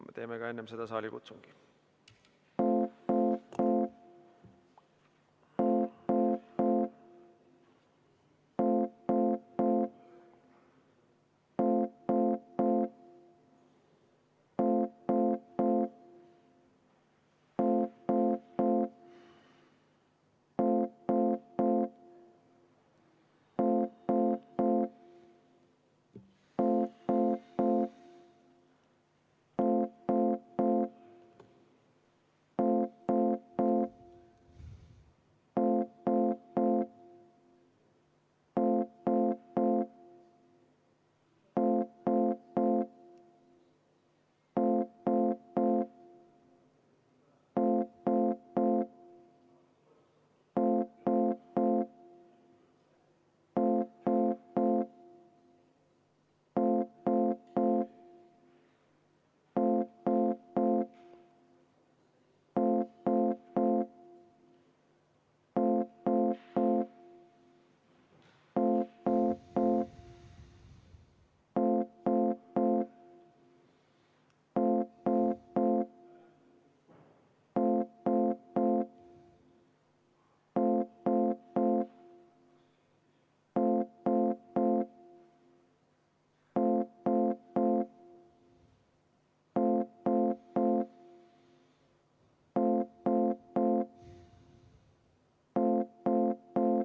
Me teeme enne seda ka saalikutsungi.